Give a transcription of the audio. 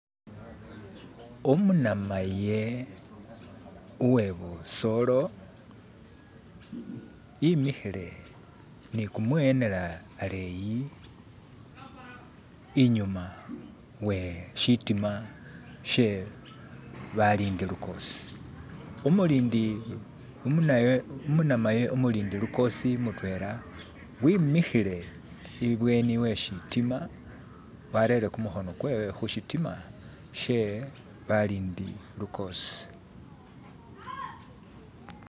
Umunamaye uwebusoolo imikhile ni kumwiwenela aleyi inyuma weshitima she balindi lukoosi, umunamaye umulindi lukoosi mutwela wimikhile ibweni we shitima warere kumukhono kwe khushitima she balindi lukoosi.